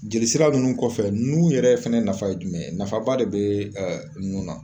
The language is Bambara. Jeli sira ninnu kɔfɛ nu yɛrɛ fɛnɛ nafa ye jumɛn ye nafaba de be ɛ nu na